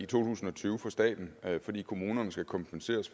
tusind og tyve for staten fordi kommunerne skal kompenseres